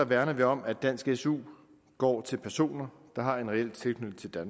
værner vi om at dansk su går til personer der har en reel tilknytning til